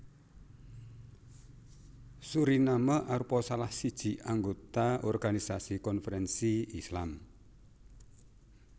Suriname arupa salah siji anggota Organisasi Konferensi Islam